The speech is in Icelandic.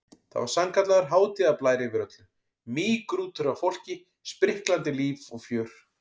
Það var sannkallaður hátíðarblær yfir öllu, mýgrútur af fólki, spriklandi líf og fjör.